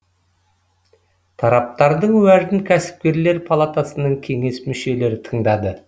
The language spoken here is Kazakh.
тараптардың уәжін кәсіпкерлер палатасының кеңес мүшелері тыңдады